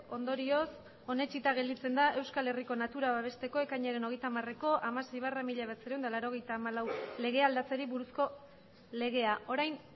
ondorioz onetsita gelditzen da euskal herriko natura babesteko ekainaren hogeita hamareko hamasei barra mila bederatziehun eta laurogeita hamalau legea aldatzeari buruzko legea orain